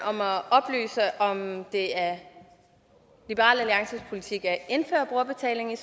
om at oplyse om det er liberal alliances politik at indføre brugerbetaling i